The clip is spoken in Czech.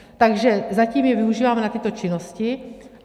Takže zatím je využíváme na tyto činnosti.